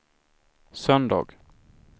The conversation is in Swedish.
söndag